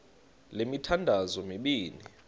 le mithandazo mibini